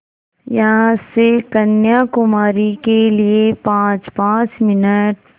यहाँ से कन्याकुमारी के लिए पाँचपाँच मिनट